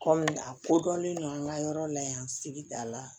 Kɔmi a kodɔnlen don an ka yɔrɔ la yan sigida la